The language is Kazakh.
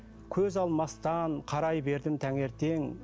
көз алмастан қарай бердім таңертең